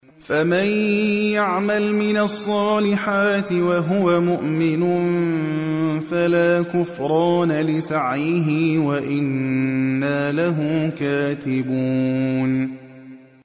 فَمَن يَعْمَلْ مِنَ الصَّالِحَاتِ وَهُوَ مُؤْمِنٌ فَلَا كُفْرَانَ لِسَعْيِهِ وَإِنَّا لَهُ كَاتِبُونَ